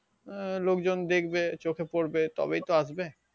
আহ লোকজন দেখবে চোখে পড়বে তবেই তো আসবে